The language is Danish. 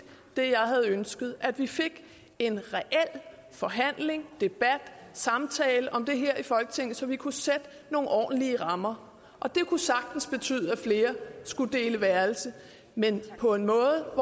det jeg havde ønsket nemlig at vi fik en reel forhandling debat samtale om det her i folketinget så vi kunne sætte nogle ordentlige rammer og det kunne sagtens betyde at flere skulle dele værelse men på en måde